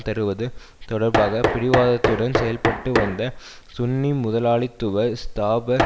தருவது தொடர்பாக பிடிவாதத்துடன் செயல்பட்டு வந்த சுன்னி முதலாளித்துவ ஸ்தாபர்